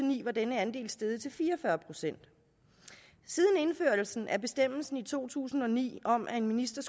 ni var denne andel steget til fire og fyrre procent siden indførelsen af bestemmelsen i to tusind og ni om at en minister